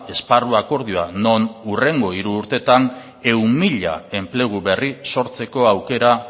esparru akordioa non hurrengo hiru urteetan ehun mila enplegu berri sortzeko aukera